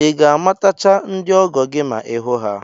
I ga-amatacha ndị ọgọ gị ma ị hụ ha?